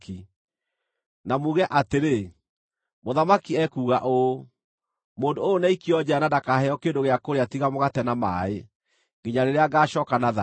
na muge atĩrĩ, ‘Mũthamaki ekuuga ũũ: Mũndũ ũyũ nĩaikio njeera na ndakaheo kĩndũ gĩa kũrĩa tiga mũgate na maaĩ, nginya rĩrĩa ngaacooka na thayũ.’ ”